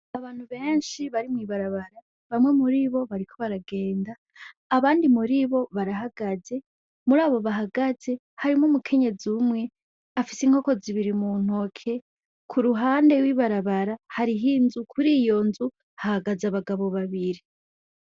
Abantu benshi bari mwibarabara bamwe muribo bariko baragenda, abandi muribo barahagaze murabo bahagaze harimwo umukenyezi umwe afise Inkoko zibiri muntoke, k'uruhande y'ibarabara kuriho nzu hahagaze Abagabo babiri.